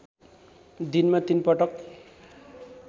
दिनमा तीन पटक